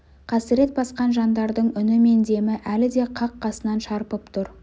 қасірет басқан жандардың үні мен демі әлі де қақ қасынан шарпып тұр